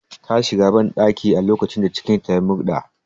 Ta shiga banɗaki a lokacin da cikin ta ya murɗa